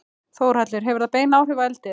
Þórhallur: Hefur það bein áhrif á eldið?